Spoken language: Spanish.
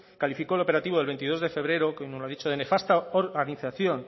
calificó el operativo del veintidós de febrero como nos ha dicho de nefasta organización